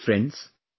Friends,